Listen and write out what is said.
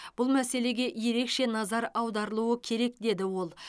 бұл мәселеге ерекше назар аударылуы керек деді ол